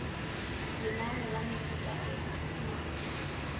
lenane la mefuta e e